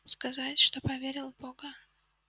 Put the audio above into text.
сказать что поверил в бога